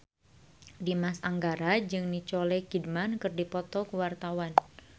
Dimas Anggara jeung Nicole Kidman keur dipoto ku wartawan